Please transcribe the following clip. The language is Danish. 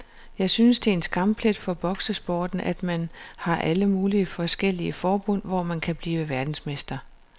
Jeg synes det er en skamplet for boksesporten, at man har alle mulige forskellige forbund, hvor man kan blive verdensmester.